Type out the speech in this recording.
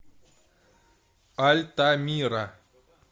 альтамира